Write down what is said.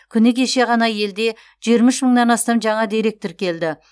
күні кеше ғана елде жиырма үш мыңнан астам жаңа дерек тіркелді